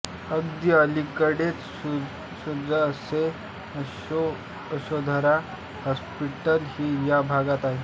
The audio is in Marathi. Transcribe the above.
अगदी अलीकडेच सुसज्ज असे यशोधरा हॉस्पिटल ही या भागात आहे